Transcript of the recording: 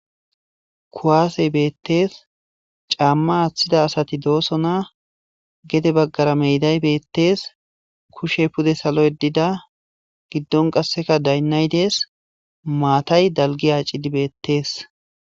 Ku'asey betes cama athida asati do'sona gede bagara meday betes kushe salo yedida gidon qaseka dayinay de'es matay daligi acidi betes